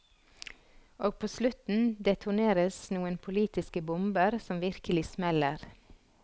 Og på slutten detoneres noen politiske bomber som virkelig smeller.